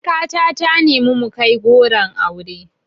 Surika ta ta nemi mu kai goron auren